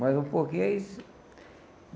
Mas um pouquinho é isso.